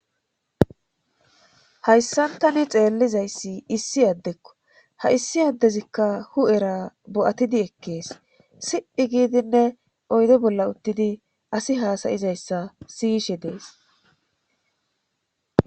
hayssan tani xeellizayssi issi addekko ha issi addezikka hu7era bo7atidi ekkees si7i giidinne oyde bolla uttidi asi haasayizayssa siyishe dees